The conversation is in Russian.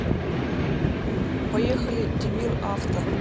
поехали димир авто